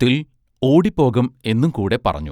ത്തിൽ ഓടിപ്പോകം എന്നും കൂടെ പറഞ്ഞു.